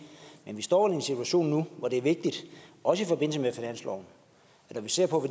men vi står i en situation nu hvor det er vigtigt også i forbindelse med finansloven at når vi ser på